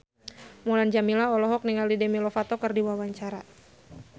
Mulan Jameela olohok ningali Demi Lovato keur diwawancara